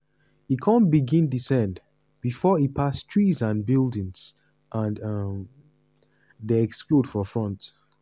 e kon begin descend bifor e pass trees and buildings and um den explode for front.